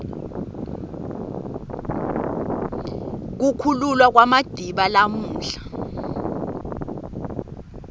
kukhululwa kwamadiba lamuhla